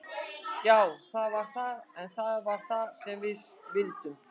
Já það var það, en það var það sem við vildum.